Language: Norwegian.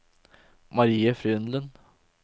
Marie Frydenlund